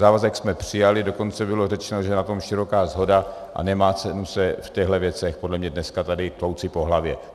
Závazek jsme přijali, dokonce bylo řečeno, že je na tom široká shoda, a nemá cenu se v těchto věcech podle mě dneska tady tlouci po hlavě.